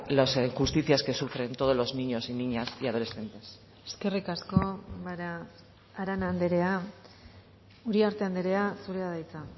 las injusticias que sufren todos los niños y niñas y adolescentes eskerrik asko arana andrea uriarte andrea zurea da hitza